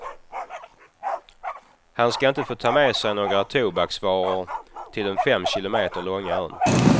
Man ska inte få ta med sig några tobaksvaror till den fem kilometer långa ön.